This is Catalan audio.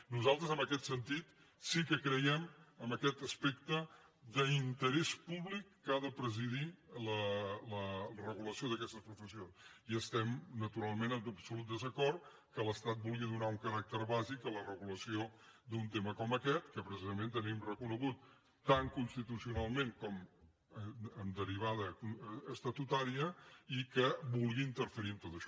nosaltres en aquest sentit sí que creiem en aquest aspecte d’interès públic que ha de presidir la regulació d’aquestes professions i estem naturalment en absolut desacord que l’estat vulgui donar un caràcter bàsic a la regulació d’un tema com aquest que precisament tenim reconegut tant constitucionalment com en derivada estatutària i que vulgui interferir en tot això